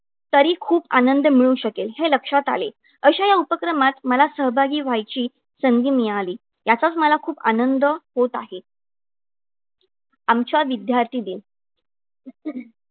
तरी खूप आनंद मिळू शकेल हे लक्षात आले. अशा या उपक्रमात मला सहभागी व्हायची संधी मिळाली. याचाच मला खूप आनंद होत आहे. आमच्या विद्यार्थीने